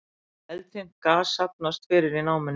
Eldfimt gas safnast fyrir í námunni